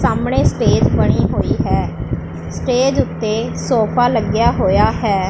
ਸਾਹਮਣੇ ਸਟੇਜ ਬਣੀ ਹੋਈ ਹੈ ਸਟੇਜ ਓੱਤੇ ਸੋਫਾ ਲੱਗਿਆ ਹੋਇਆ ਹੈ।